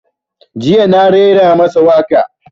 Jiya na raira masa waƙa